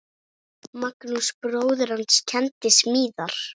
Magnús bróðir hans kenndi smíðar.